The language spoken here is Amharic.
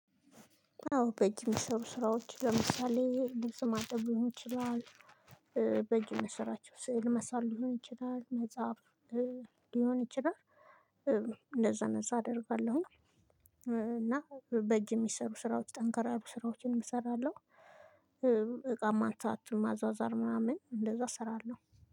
አዎ በእጅ የሚሰሩ ስራዎች ለምሳሌ ልብስ ማጠብ ሊሆን ይችላል፤ በእጅ የምሰራቸው ስዕል መሳል ሊሆን ይችላል፤ መጻፍ ሊሆን ይችላል እንደዛ እንደዛ አደርጋለሁኝ እና በእጅ የሚሰሩ ስራዎች ጠንከር ያሉ ስራዎችንም እሰራለሁ። እቃማ ማንሳት ማዟዟር ምናምን እንደዛ እሰራለሁ።